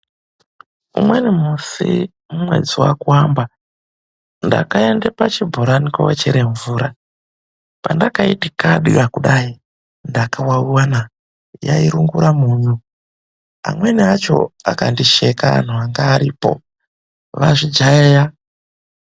Umweni musi mumwedzi waKuamba, ndakaende pachibhorani koochere mvura. Pandakaiti kadya kudai, ndakawawiwa na! Yairungura munyu. Amweni acho akandisheka anhu anga aripo, vazvijaeya .